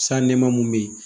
San nɛma mun be yen